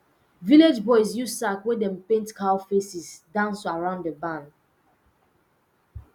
village boys use sack wey dem paint cow faces dance around the barn